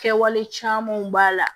Kɛwale camanw b'a la